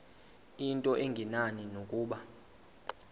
into engenani nokuba